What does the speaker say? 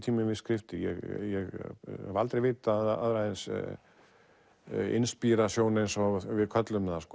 við skriftir ég hef aldrei vitað aðra eins inspírasjón eins og við köllum það